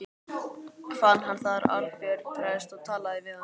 Fann hann þar Arnbjörn prest og talaði við hann.